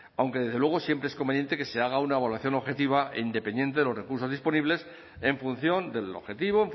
aunque desde luego siempre es conveniente que se haga una evaluación objetiva e independiente de los recursos disponibles en función del objetivo